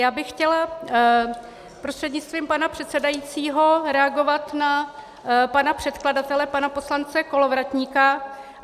Já bych chtěla prostřednictvím pana předsedajícího reagovat na pana předkladatele pana poslance Kolovratníka.